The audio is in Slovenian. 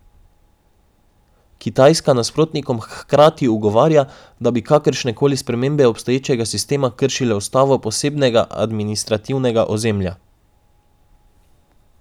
Kitajska nasprotnikom hkrati ugovarja, da bi kakršne koli spremembe obstoječega sistema kršile ustavo posebnega administrativnega ozemlja.